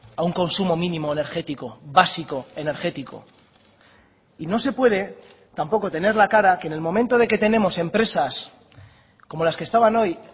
a un consumo mínimo energético básico energético y no se puede tampoco tener la cara que en el momento de que tenemos empresas como las que estaban hoy